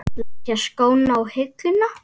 Leggja skóna á hilluna?